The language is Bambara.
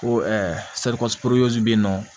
Ko bɛ yen nɔ